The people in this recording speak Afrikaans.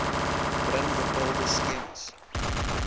bring bepaalde skemas